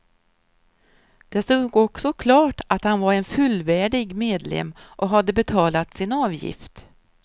Det stod också klart att han var en fullvärdig medlem och hade betalat sin avgift.